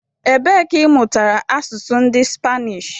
Ebe ka ị mụtara asụsụ ndị Spanish?